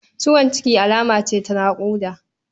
Ciwon ciki alama ce ta naƙuda.